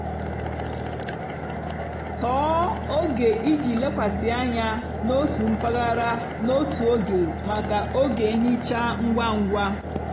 tọọ oge iji lekwasị anya n'otu mpaghara n'otu oge maka oge nhicha ngwa ngwa.